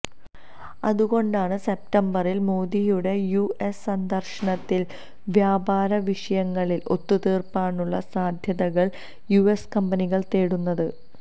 അതുകൊണ്ടാണ് സെപ്റ്റംബറിൽ മോദിയുടെ യുഎസ് സന്ദർശനത്തിൽ വ്യാപാരവിഷയങ്ങളിൽ ഒത്തുതീർപ്പിനുള്ള സാധ്യതകൾ യുഎസ് കമ്പനികൾ തേടുന്നത്